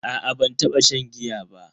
A'a ban taba shan giya ba.